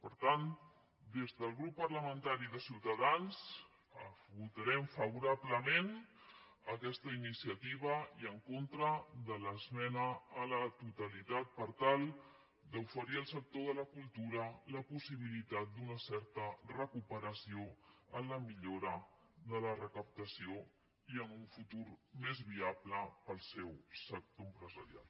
per tant des del grup parlamentari de ciutadans votarem favorablement aquesta iniciativa i en contra de l’esmena a la totalitat per tal d’oferir al sector de la cultura la possibilitat d’una certa recuperació en la millora de la recaptació i en un futur més viable per al seu sector empresarial